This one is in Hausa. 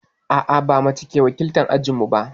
A'a, ba mace ke wakiltar ajinmu ba.